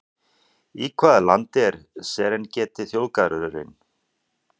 Í hvaða landi er Serengeti þjóðgarðurinn?